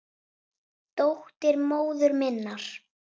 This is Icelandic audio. Dóttir móður minnar?